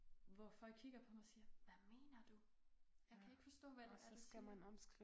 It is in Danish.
Hvor folk kigger på mig siger hvad mener du? Jeg kan ikke forstå hvad det så siger